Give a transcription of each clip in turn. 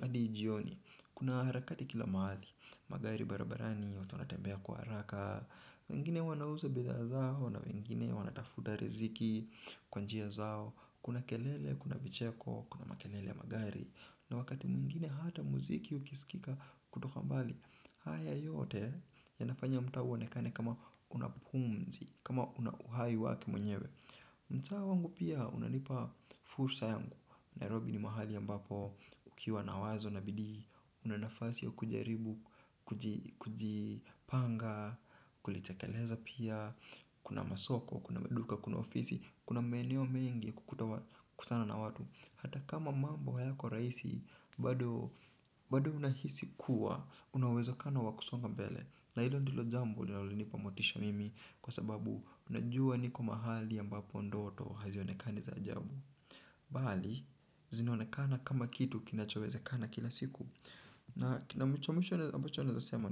hadi jioni, kuna harakati kila mahali. Magari barabarani watu wanatembea kwa haraka wengine wanauza bidhaa zao na wengine wanatafuta riziki kwa njia zao. Kuna kelele, kuna vicheko, kuna makelele ya magari. Na wakati mwingine hata muziki ukisikika kutoka mbali. Haya yote yanafanya mtaa uonekane kama unapumzi, kama unahai wake mwenyewe. Mtaa wangu pia unanipa fursa yangu Nairobi ni mahali ambapo ukiwa na wazo na bidii. Unanafasi ya kujaribu, kujipanga, kulitekeleza pia. Kuna masoko, kuna maduka, kuna ofisi, kuna maeneo mengi kukutana na watu. Hata kama mambo hayako rahisi bado. Bado unahisi kuwa unauwezokano wakusonga mbele. Na hilo ndilo jambo linalonipa motisha mimi. Kwa sababu najua niko mahali ambapo ndoto hazionekani za ajabu bali zinaonekana kama kitu kinachowezekana kila siku na cha mwisho ambacho naeza sema.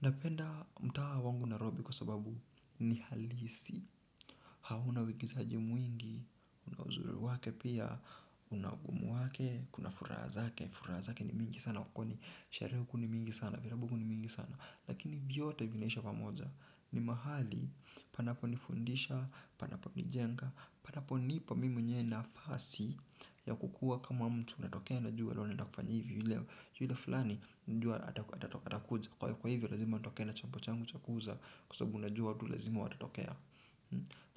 Napenda mtaa wangu narobi kwa sababu ni halisi. Hauna uigizaji mwingi. Una uzuri wake pia, una ugumu wake, kuna furaha zake. Furaha zake ni mingi sana, kwa kuwa ni, sherehe huku ni mingi sana, vilabu huku ni mingi sana. Lakini vyote vinaisha pamoja. Ni mahali, panaponifundisha, panaponijenga. Panapo nipa mimi mwenyewe nafasi ya kukua kama mtu unatokea na jua na unaenda kufanya hivi. Yule fulani, jua atatakuja. Kwa hivyo lazima atokee na chombo changu cha kuuza. Kwa sabu unajua tu lazima watatokea.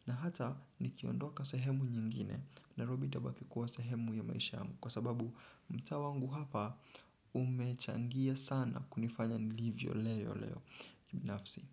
Na hata nikiondoka sehemu nyingine Narobi itabaki kuwa sehemu ya maisha yangu. Kwa sababu mtaa wangu hapa umechangia sana kunifanya nilivyo leo leo. Kibinafsi.